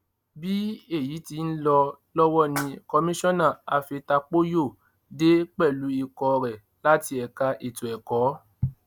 bí èyí ti ń lọ lọwọ ni komisanna afetapóyò dé pẹlú ikọ rẹ láti ẹka ètò ẹkọ